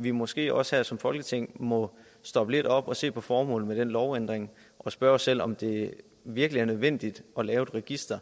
vi måske også som folketing må stoppe lidt op og se på formålet med den lovændring og spørge os selv om det virkelig er nødvendigt at lave et register